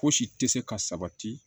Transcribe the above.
Fosi tɛ se ka sabati